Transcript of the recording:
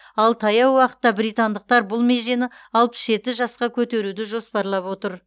ал таяу уақытта британдықтар бұл межені алпыс жеті жасқа көтеруді жоспарлап отыр